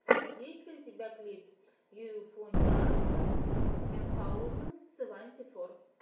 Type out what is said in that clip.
есть ли у тебя клип юэфоуниарсан минхаузен сэванти фор